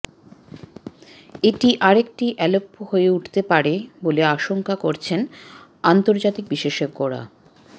এটি আরেকটি আলেপ্পো হয়ে উঠতে পারে বলে আশঙ্কা করছেন আন্তর্জাতিক বিশেষজ্ঞরা